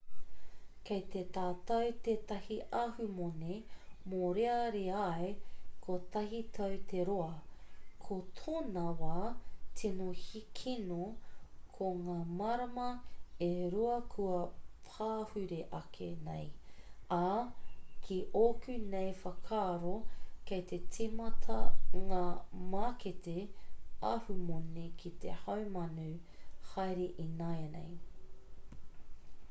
kei a tātou tētahi ahumoni mōreareai kotahi tau te roa ko tōna wā tino kino ko ngā marama e rua kua pahure ake nei ā ki ōku nei whakaaro kei te tīmata ngā mākete ahumoni ki te haumanu haere ināianei